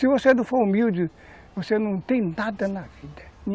Se você não for humilde, você não tem nada na vida.